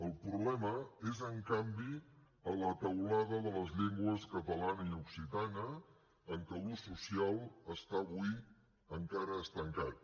el problema és en canvi a la teulada de les llengües catalana i occitana en què l’ús social està avui encara estancat